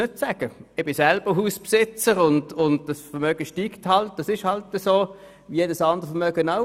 Ich bin selber Hausbesitzer, und das Vermögen steigt, wie jedes andere Vermögen auch.